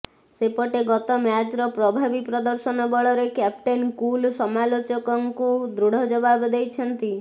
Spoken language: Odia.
ସେପଟେ ଗତ ମ୍ୟାଚର ପ୍ରଭାବୀ ପ୍ରଦର୍ଶନ ବଳରେ କ୍ୟାପଟେନ କୁଲ ସମାଲୋଚକଙ୍କୁ ଦୃଢ ଜବାବ ଦେଇଛନ୍ତି